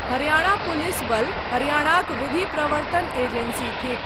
Haryana police बल हरियाणाक विधि प्रवर्तन एजेंसी थिक।